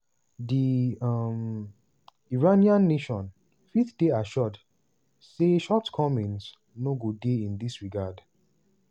"di um iranian nation fit dey assured say shortcomings no go dey in dis regard."